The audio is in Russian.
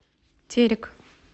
терек